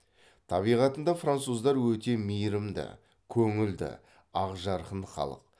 табиғатында француздар өте мейрімді көңілді ақжарқын халық